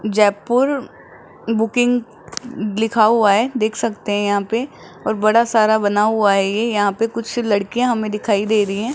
Jaipur booking लिखा हुआ है देख सकते हैं यहां पे और बड़ा सारा बना हुआ है ये यहां पे कुछ लड़कियां हमें दिखाई दे रही हैं।